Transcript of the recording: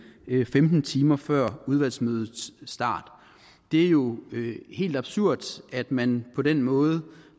femten timer før udvalgsmødets start det er jo helt absurd at man på den måde